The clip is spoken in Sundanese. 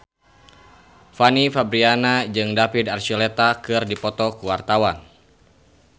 Fanny Fabriana jeung David Archuletta keur dipoto ku wartawan